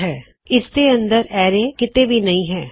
ਹੁਣਅਰੈ ਇਸਦੇ ਅੰਦਰ ਕਿੱਥੇ ਵੀ ਨਹੀ ਹੈ